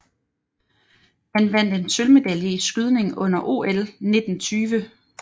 Han vandt en sølvmedalje i skydning under OL 1920